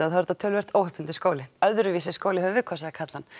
er þetta töluvert óhefðbundinn skóli öðruvísi skóli höfum við kosið að kalla hann